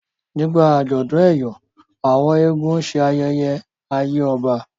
nígbà ajọdun eyọ àwọn eégún ṣe ayẹyẹ àyè ọba